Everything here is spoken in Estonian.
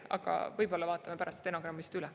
Aga võib-olla vaatame pärast stenogrammist üle.